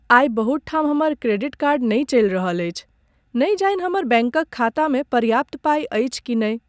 आइ बहुत ठाम हमर क्रेडिट कार्ड नहि चलि रहल अछि। नहि जानि हमर बैंकक खातामे पर्याप्त पाइ अछि कि नहि।